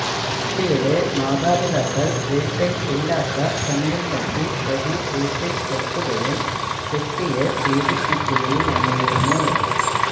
കുട്ടിയുടെ മാതാപിതാക്കൾ വീട്ടിൽ ഇല്ലാത്ത സമയം നോക്കി പ്രതി വീട്ടിൽ എത്തുകയും കുട്ടിയെ പീഡിപ്പിക്കുകയുമായിരുന്നു